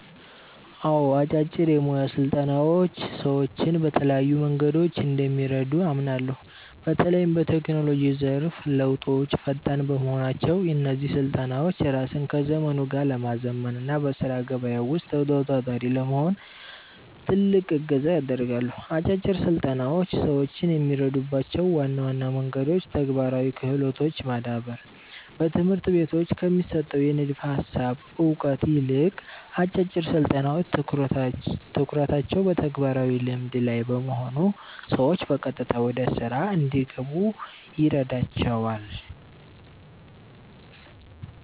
አዎ፣ አጫጭር የሞያ ስልጠናዎች ሰዎችን በተለያዩ መንገዶች እንደሚረዱ አምናለሁ። በተለይም በቴክኖሎጂው ዘርፍ ለውጦች ፈጣን በመሆናቸው፣ እነዚህ ስልጠናዎች ራስን ከዘመኑ ጋር ለማዘመን እና በሥራ ገበያው ውስጥ ተወዳዳሪ ለመሆን ትልቅ እገዛ ያደርጋሉ። አጫጭር ስልጠናዎች ሰዎችን የሚረዱባቸው ዋና ዋና መንገዶች ተግባራዊ ክህሎትን ማዳበር፦ በትምህርት ቤቶች ከሚሰጠው የንድፈ ሃሳብ እውቀት ይልቅ፣ አጫጭር ስልጠናዎች ትኩረታቸው በተግባራዊ ልምድ (Practical Skill) ላይ በመሆኑ ሰዎች በቀጥታ ወደ ሥራ እንዲገቡ ይረዳቸዋል።